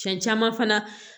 Fɛn caman fana